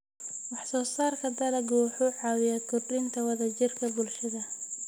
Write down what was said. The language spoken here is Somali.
Wax-soo-saarka dalaggu wuxuu caawiyaa kordhinta wada-jirka bulshada.